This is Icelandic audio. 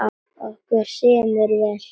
Okkur semur vel